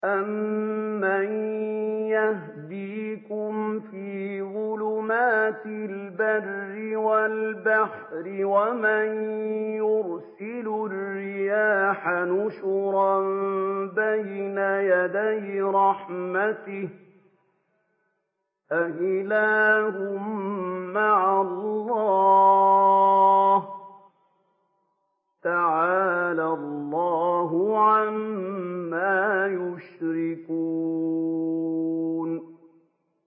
أَمَّن يَهْدِيكُمْ فِي ظُلُمَاتِ الْبَرِّ وَالْبَحْرِ وَمَن يُرْسِلُ الرِّيَاحَ بُشْرًا بَيْنَ يَدَيْ رَحْمَتِهِ ۗ أَإِلَٰهٌ مَّعَ اللَّهِ ۚ تَعَالَى اللَّهُ عَمَّا يُشْرِكُونَ